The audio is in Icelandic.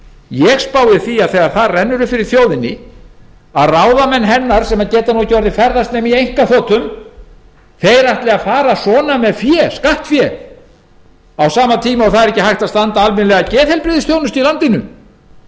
ég spái því að þegar það rennur upp fyrir þjóðinni að ráðamenn hennar sem geta nú orðið ekki ferðast nema í einkaþotum ætli að fara svona með skattfé á sama tíma og ekki er hægt að standa almennilega að geðheilbrigðisþjónustu í